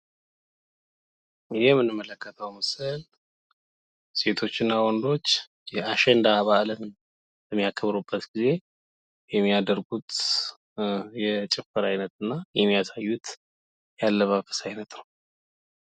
ይህ የምንመለከተው ምስል ሴቶች እና ወንዶች የአሽንዳ በዓል በሚያከብሩበት ጊዜ የሚያደርጉት የጭፈራ አይነት እና የሚያሳዩት የአለባበስ አይነት ነው።